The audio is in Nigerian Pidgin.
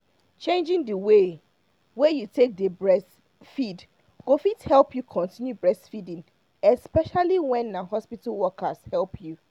changing the way wey you take dey breastfeed go fit help you continue breastfeeding especially when na hospital workers help you.